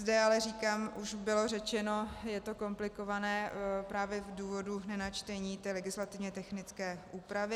Zde ale říkám, už bylo řečeno, je to komplikované právě z důvodu načtení té legislativně technické úpravy.